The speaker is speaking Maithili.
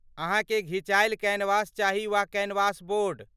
अहाँकेँ घिचायल कैनवास चाही वा कैनवास बोर्ड?